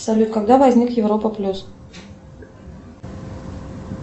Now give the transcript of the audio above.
салют когда возник европа плюс